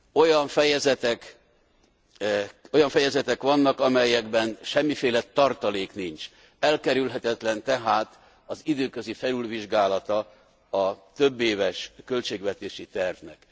Olyan fejezetek vannak, amelyekben semmiféle tartalék nincs, elkerülhetetlen tehát az időközi felülvizsgálata a többéves költségvetési tervnek.